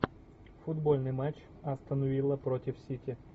футбольный матч астон вилла против сити